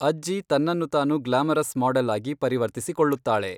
ಅಜ್ಜಿ ತನ್ನನ್ನು ತಾನು ಗ್ಲಾಮರಸ್ ಮಾಡೆಲ್ ಆಗಿ "ಪರಿವರ್ತಿಸಿಕೊಳ್ಳುತ್ತಾಳೆ".